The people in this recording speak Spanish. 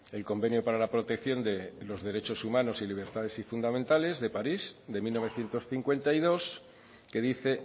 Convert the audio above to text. el convenio para la protección de los derechos humanos y libertades fundamentales de parís de mil novecientos cincuenta y dos que dice